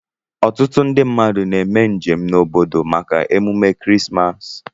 Ọtụtu ndi mmadu na eme njem na obodo maka emume krismas.